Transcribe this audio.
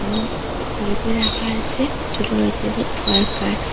এবং সাইকেল রাখা আছে সোট বাইচ্চাদের ওয়াইকার ।